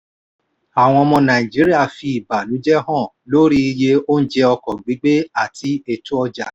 àwọn ọmọ nàìjíríà fi ìbànújẹ́ hàn lórí iye oúnjẹ ọkọ̀ gbígbé àti ètò ọjà.